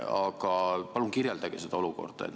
Aga palun kirjeldage seda olukorda!